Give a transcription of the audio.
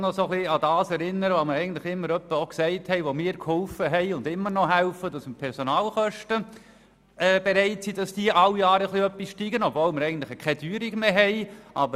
Die Linke möchte ich daran erinnern, dass wir zwar bereit sind, die Personalkosten jedes Jahr etwas zu steigern, obwohl wir eigentlich keine Teuerung mehr haben.